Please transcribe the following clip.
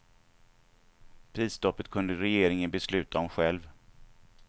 Prisstoppet kunde regeringen besluta om själv.